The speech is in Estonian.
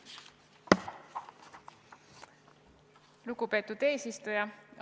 Lugupeetud eesistuja!